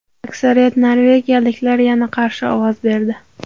Aksariyat norvegiyaliklar yana qarshi ovoz berdi.